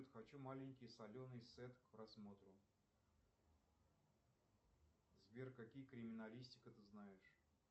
хочу маленький соленый сет к просмотру сбер какие криминалистика ты знаешь